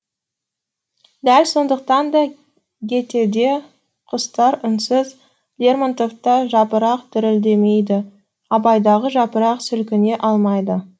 дәл сондықтан да гетеде құстар үнсіз лермонтовта жапырақ дірілдемейді абайдағы жапырақ сілкіне алмайды